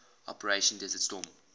operation desert storm